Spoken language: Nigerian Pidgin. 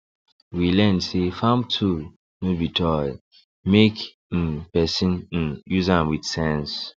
we learn say farm tool no be toy make um person um use am with sense